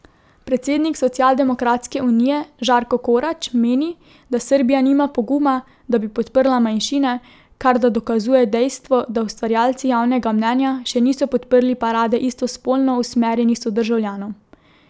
Predsednik Socialdemokratske unije Žarko Korać meni, da Srbija nima poguma, da bi podprla manjšine, kar da dokazuje dejstvo, da ustvarjalci javnega mnenja še niso podprli parade istospolno usmerjenih sodržavljanov.